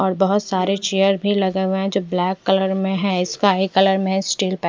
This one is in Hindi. और बोहोत सारे चेयर भी लगे हुए है जो ब्लैक कलर में है स्काई कलर स्टील --